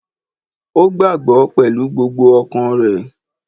Ó gbàá gbọ́ pẹ̀lú gbogbo ọkàn rẹ̀